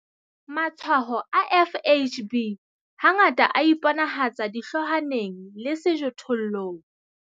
Matshwao a FHB hangata a iponahatsa dihloohwaneng le sejothollong.